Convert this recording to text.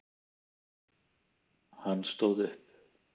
Hann stóð upp.